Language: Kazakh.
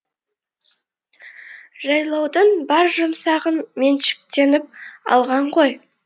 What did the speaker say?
жайлаудың бар жұмсағын меншіктеніп алған ғой